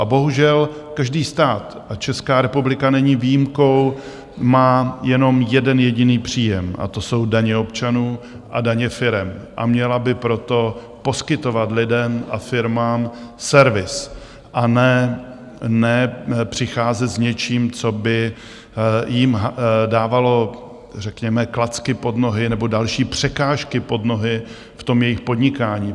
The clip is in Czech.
A bohužel každý stát, a Česká republika není výjimkou, má jenom jeden jediný příjem a to jsou daně občanů a daně firem, a měla by proto poskytovat lidem a firmám servis, a ne přicházet s něčím, co by jim dávalo řekněme klacky pod nohy nebo další překážky pod nohy v tom jejich podnikání.